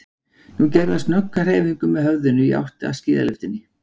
Nú gerði hann snögga hreyfingu með höfðinu í áttina að skíðalyftunni.